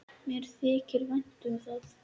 Mér þykir vænt um það.